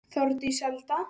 Þórdís Alda.